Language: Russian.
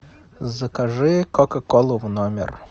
закажи кока колу в номер